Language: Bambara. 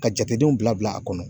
Ka jatedenw bila bila a kɔnɔ.